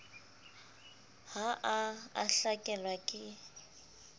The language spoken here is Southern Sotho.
ha a a hlakelwa ke